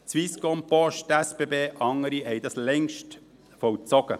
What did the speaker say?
Swisscom, Post, SBB und andere haben das längst vollzogen.